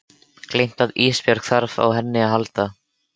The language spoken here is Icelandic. Gleymt að Ísbjörg þarf á henni að halda.